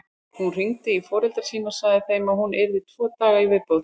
Hún hringdi í foreldra sína og sagði þeim að hún yrði tvo daga í viðbót.